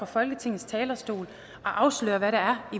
folketingets talerstol og afsløre hvad der